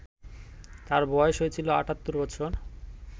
তাঁর বয়স হয়েছিল ৭৮ বছর